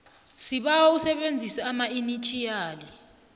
sibawa usebenzise amainitjhiyali